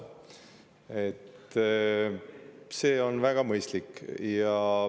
See on väga mõistlik.